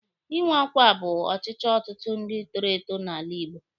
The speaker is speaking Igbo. Ịnwe ọkwa bụ ọchịchọ ọtụtụ ndị toro eto n'ala Igbo.